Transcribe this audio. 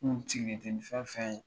Sigilen tɛ ni fɛn fɛn ye